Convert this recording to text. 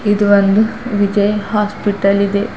ಇದು ಒಂದು ವಿಜಯ ಹಾಸ್ಪಿಟಲ್ ಇದೆ.